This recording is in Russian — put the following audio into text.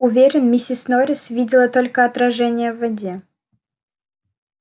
уверен миссис норрис видела только отражение в воде